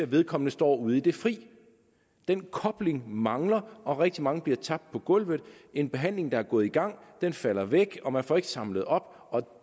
vedkommende står ude i det fri den kobling mangler og rigtig mange bliver tabt på gulvet en behandling der er gået i gang falder væk og man får ikke samlet op og